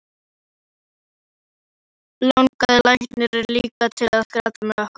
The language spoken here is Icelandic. Og eflaust langaði lækninn líka til að gráta með okkur.